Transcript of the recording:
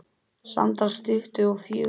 Samtals tuttugu og fjögur.